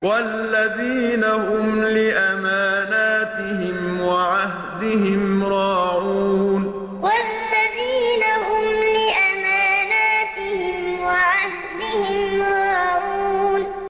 وَالَّذِينَ هُمْ لِأَمَانَاتِهِمْ وَعَهْدِهِمْ رَاعُونَ وَالَّذِينَ هُمْ لِأَمَانَاتِهِمْ وَعَهْدِهِمْ رَاعُونَ